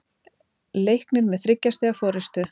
Leiknir með þriggja stiga forystu